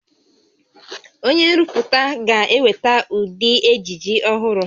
Onye nrụpụta ga-eweta ụdị ejiji ọhụrụ